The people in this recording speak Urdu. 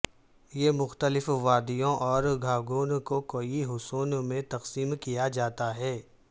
یہ مختلف وادیوں اور گھاگوں کو کئی حصوں میں تقسیم کیا جاتا ہے